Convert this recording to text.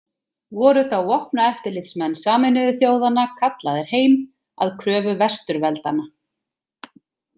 Voru þá vopnaeftirlitsmenn Sameinuðu þjóðanna kallaðir heim, að kröfu Vesturveldanna.